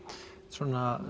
svona